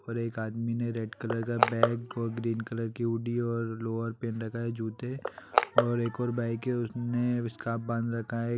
और एक आदमी ने रेड कलर का बैग और ग्रीन कलर की हुडी और लोअर पहन रखा है जूते और एक और बाइक है उसने स्कार्फ़ बांध रखा है।